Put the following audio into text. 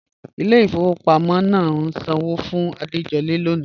Ìlẹ̀ ifọwọ̀ pàmọ̀ náà ǹ sàn ọwọ́ fún Àdéjọ̀lẹ̀ lọ́ní